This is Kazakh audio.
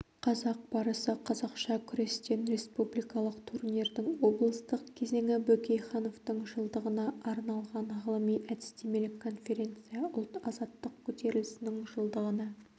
қазақ барысы қазақша күрестен республикалық турнирдің облыстық кезеңі бөкейхановтың жылдығына арналған ғылыми-әдістемелік конференция ұлт-азаттық көтерілісінің жылдығына